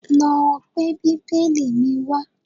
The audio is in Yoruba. Lọ gbé bíbélì mi wá